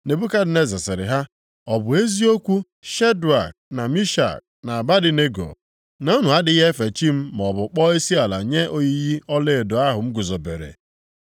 Nebukadneza sịrị ha, “Ọ bụ eziokwu, Shedrak, na Mishak, na Abednego, na unu adịghị efe chi m maọbụ kpọọ isiala nye oyiyi ọlaedo ahụ m guzobere?